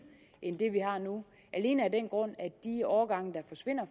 end det vi har nu alene af den grund at de årgange der forsvinder